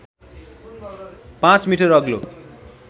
५ metre अग्लो